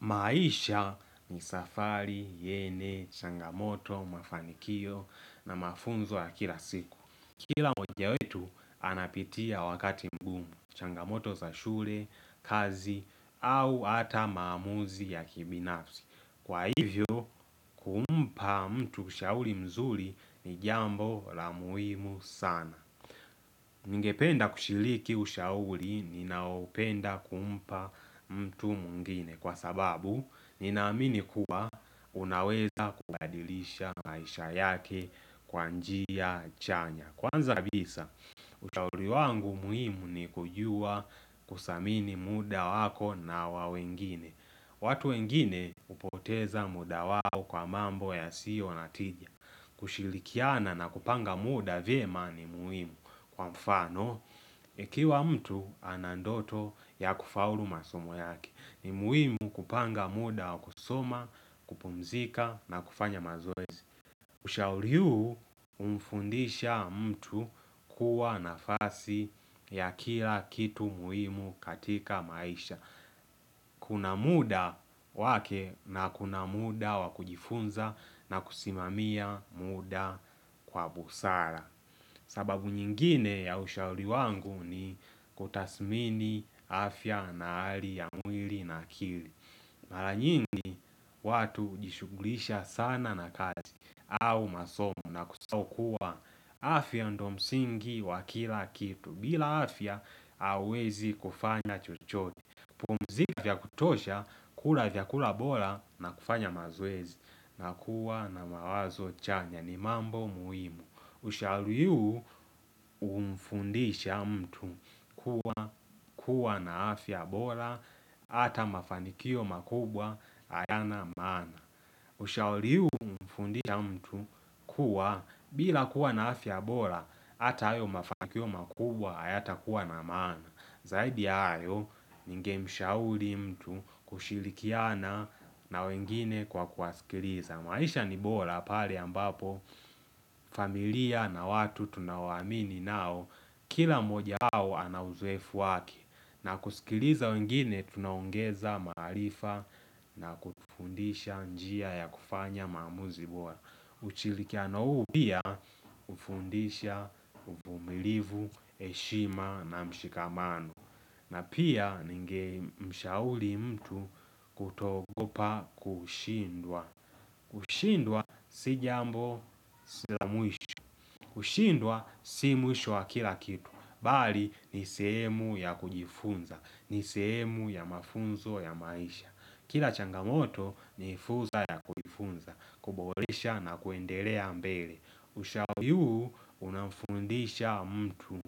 Maisha ni safari, yenye, changamoto, mafanikio na mafunzo ya kila siku Kila moja wetu anapitia wakati mgumu, changamoto za shule, kazi au ata maamuzi ya kibinafsi Kwa hivyo, kumpa mtu ushauri mzuri ni jambo la muhimu sana Ningependa kushiliki ushauri ninaopenda kumpa mtu mwngine kwa sababu ninaamini kuwa unaweza kubadilisha maisha yake kwabnjia chanya Kwanza kabisa ushauri wangu muhimu ni kujua kusamini muda wako na wa wengine watu wengine upoteza muda wao kwa mambo ya siyo natija kushilikiana na kupanga mda vyema ni muhimu kwa mfano ikiwa mtu anandoto ya kufaulu masomo yake ni muhimu kupanga muda wa kusoma, kupumzika na kufanya mazoez Ushauri huu humfundisha mtu kuwa nafasi ya kia kitu muhimu katika maisha Kuna muda wake na kuna muda wakujifunza na kusimamia muda kwa busara sababu nyingine ya ushauri wangu ni kutasmini afya na hali ya mwili na kili Mara nyingi watu hujishugulisha sana na kazi au masomo na kusahau kuwa afya ndo msingi wa kila kitu bila afya hauwezi kufanya chuchote pumzika vya kutosha, kula vya kula bola na kufanya mazoezi na kuwa na mawazo chanya ni mambo muhimu. Ushauri huu umfundisha mtu kuwa na afya bola ata mafanikio makubwa aya na mana. Ushauri huu umfundisha mtu kuwa bila kuwa na afya bora Hata ayo mafanikio makubwa ayata kuwa na maana Zaidi ayo nge mshauri mtu kushilikiana na wengine kwa kuaskiliza maisha ni bora pali ambapo familia na watu tunaowamini nao Kila moja au anauzoefu wake na kusikiliza wengine tunaongeza maarifa na kufundisha njia ya kufanya mamuzi bora ushirikiano huu pia hufundisha uvumilivu, heshima na mshikamano na pia ningemshauri mtu kuto ogopa kushindwa kushindwa si jambo si la mwisho kushindwa si mwisho wa kila kitu mbali ni sehemu ya kujifunza, ni sehemu ya mafunzo ya maisha Kila changamoto ni fursa ya kujifunza, kuboresha na kuendelea mbele Ushaoyu unamfundisha mtu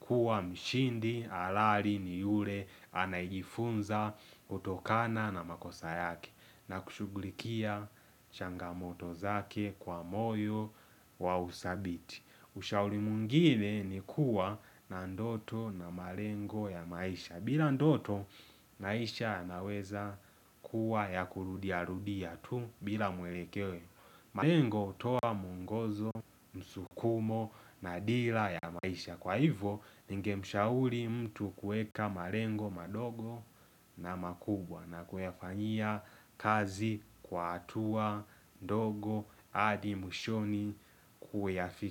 kuwa mshindi, halali, ni yule, anayejifunza kutokana na makosa yake na kushuglikia changamoto zake kwa moyo wa usabiti Ushauri mwingine ni kuwa na ndoto na malengo ya maisha bila ndoto, maisha yanaweza kuwa ya kurudia rudia tu bila mwelekeo malengo hutoa mwongozo, msukumo na dira ya maisha Kwa hivyo, ningemshauri mtu kueka malengo madogo na makubwa na kuyafanyia kazi kwa hatua, ndogo, hadi mwishoni kuyafikia.